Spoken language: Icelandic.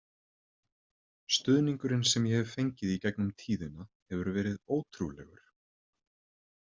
Stuðningurinn sem ég hef fengið í gegnum tíðina hefur verið ótrúlegur.